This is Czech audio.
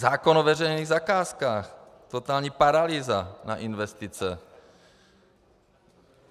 Zákon o veřejných zakázkách - totální paralýza na investice.